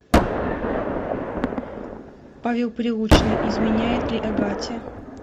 павел прилучный изменяет ли агате